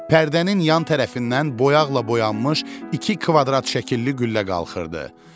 Pərdənin yan tərəfindən boyaqla boyanmış iki kvadrat şəkilli güllə qalxırdı.